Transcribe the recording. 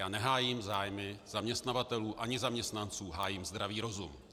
Já nehájím zájmy zaměstnavatelů ani zaměstnanců, hájím zdravý rozum.